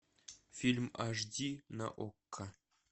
фильм аш ди на окко